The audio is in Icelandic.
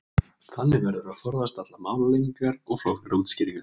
þannig verður að forðast allar málalengingar og flóknari útskýringar